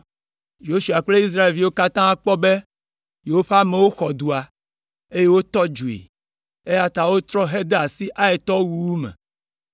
Yosua kple Israelviwo katã kpɔ be yewoƒe amewo xɔ dua, eye wotɔ dzoe, eya ta wotrɔ hede asi Aitɔwo wuwu me.